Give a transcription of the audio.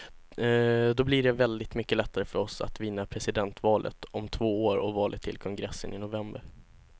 Då blir det väldigt mycket lättare för oss att vinna presidentvalet om två år och valet till kongressen i november.